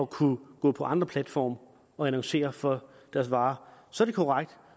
kunne gå på andre platforme og annoncere for deres varer så er det korrekt